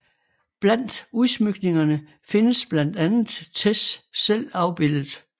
Blandt udsmykningerne findes blandt andet Tesch selv afbildet